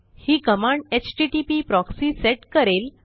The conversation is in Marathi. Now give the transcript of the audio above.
ही कमांड एचटीटीपी प्रॉक्सी सेट करेल